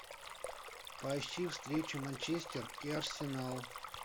поищи встречу манчестер и арсенал